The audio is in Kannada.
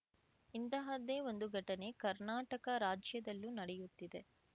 ಇಂತಹದ್ದೇ ಒಂದು ಘಟನೆ ಕರ್ನಾಟಕ ರಾಜ್ಯದಲ್ಲೂ ನಡೆಯುತ್ತಿದೆ